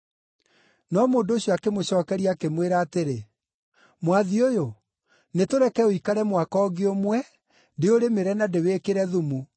“No mũndũ ũcio akĩmũcookeria, akĩmwĩra atĩrĩ, ‘Mwathi ũyũ, nĩtũreke ũikare mwaka ũngĩ ũmwe, ndĩũrĩmĩre na ndĩwĩkĩre thumu.